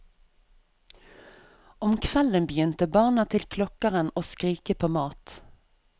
Om kvelden begynte barna til klokkeren å skrike på mat.